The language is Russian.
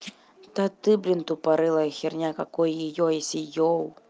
да ты блин тупорылая херня какой её если ёу